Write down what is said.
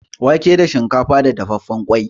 Wake da shinkafa da dafaffen ƙwai.